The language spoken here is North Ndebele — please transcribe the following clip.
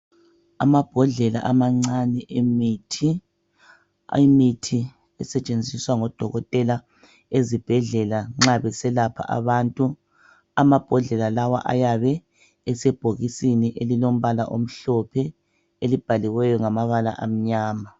Amabhodlela amancani emithi esetshenziswa ngoDokotela ezibhedlela nxa beselapha abantu. Amabhodlela lawa ayabe esebhokisini elilombala omhlophe elibhaliweyo ngamabala amnyama.